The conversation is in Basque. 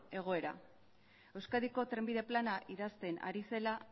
egoera euskadiko trenbide plana idazten ari zela